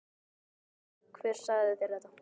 Segðu mér hver sagði þér þetta.